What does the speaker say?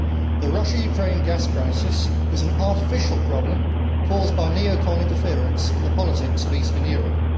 The Russia Ukraine gas crisis was an artificial problem caused by neo con interference in the politics of Eastern Europe.